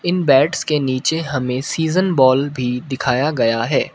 इन bats के नीचे हमें सीजन बॉल भी दिखाया गया है।